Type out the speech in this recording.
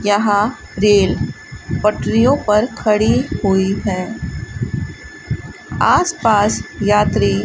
यहां रेल पटरियों पर खड़ी हुई है आस पास यात्री --